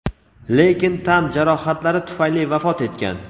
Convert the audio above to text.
lekin tan jarohatlari tufayli vafot etgan.